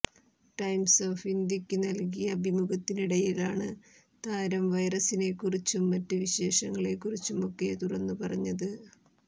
times of ഇന്ത്യയ്ക്ക് നല്കിയ ്ഭിമുഖത്തിനിടയിലാണ് താരം വൈറസിനെക്കുറിച്ചും മറ്റ് വിശേഷങ്ങളെക്കുറിച്ചുമൊക്കെ തുറന്നുപറഞ്ഞത്